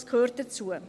Diese gehören dazu.